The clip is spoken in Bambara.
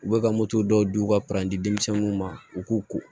U bɛ ka moto dɔw di u ka denmisɛnniw ma u k'u ko